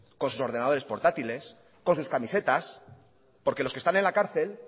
con sus ordenadores portátiles con sus camisetas porque los que están en la cárcel